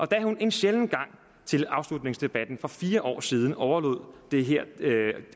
da hun en sjælden gang til afslutningsdebatten for fire år siden overlod det her